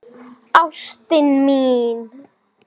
Ha, veistu það?